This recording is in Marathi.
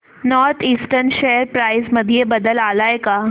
नॉर्थ ईस्टर्न शेअर प्राइस मध्ये बदल आलाय का